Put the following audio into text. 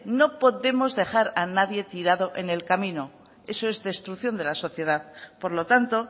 no podemos dejar a nadie tirado en el camino eso es destrucción de la sociedad por lo tanto